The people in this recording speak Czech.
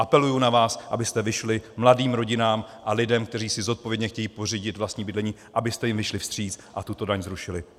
Apeluji na vás, abyste vyšli mladým rodinám a lidem, kteří si zodpovědně chtějí pořídit vlastní bydlení, abyste jim vyšli vstříc a tuto daň zrušili.